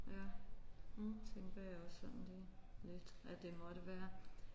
Ja det tænker jeg også sådan lige lidt at det måtte være